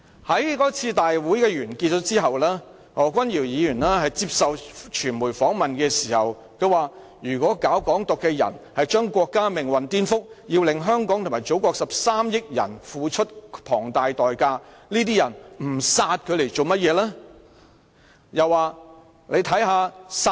在該次集會完結後，何君堯議員在接受傳媒訪問時說道："如果搞港獨的人是將國家命運顛覆，要令香港及祖國13億人付出龐大代價，這些人不殺他來幹甚麼？